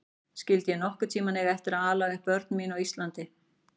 Skyldi ég nokkurn tíma eiga eftir að ala upp börn mín á Íslandi?